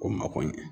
O mako ɲɛ